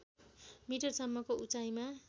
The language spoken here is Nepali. मिटरसम्मको उचाइमा